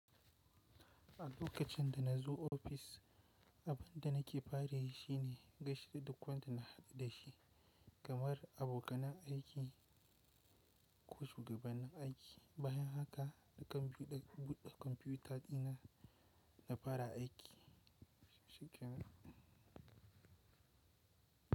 A lokacin da na zo ofis, abin da nake fara shi ne gaishe da duk wanda na haɗu da shi kamar abokanan aiki ko shugaban aiki. Bayan haka na kan buɗe kwamfuta dina na fara aiki shikenan.